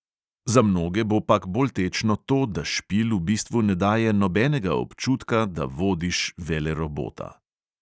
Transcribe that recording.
Za mnoge bo pak bolj tečno to, da špil v bistvu ne daje nobenega občutka, da vodiš velerobota.